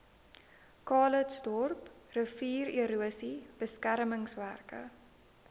calitzdorp riviererosie beskermingswerke